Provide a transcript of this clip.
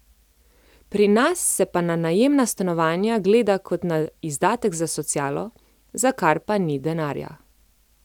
Pri nas se pa na najemna stanovanja gleda kot na izdatek za socialo, za kar pa ni denarja.